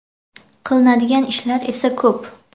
Qilinadigan ishlar esa ko‘p.